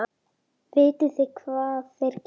Vitið þið hvað þeir gerðu?